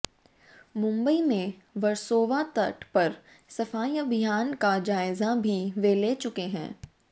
मुम्बई में वरसोवा तट पर सफाई अभियान का जायज़ा भी वे ले चुके हैं